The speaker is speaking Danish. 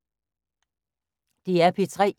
DR P3